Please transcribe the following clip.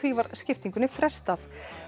var skiptingunni frestað